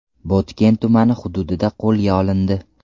Botken tumani hududida qo‘lga olindi.